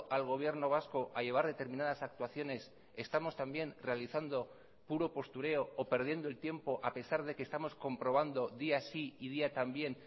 al gobierno vasco a llevar determinadas actuaciones estamos también realizando puro postureo o perdiendo el tiempo a pesar de que estamos comprobando día sí y día también